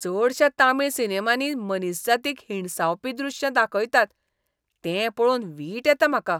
चडश्या तामीळ सिनेमांनी मनीसजातीक हिणसावपी दृश्यां दाखयतात तें पळोवन वीट येता म्हाका.